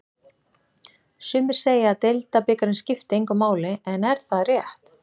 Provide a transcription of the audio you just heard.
Sumir segja að deildabikarinn skipti engu máli en er það rétt?